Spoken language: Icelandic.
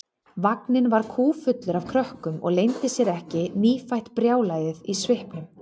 Vagninn var kúffullur af krökkum og leyndi sér ekki nýfætt brjálæðið í svipnum.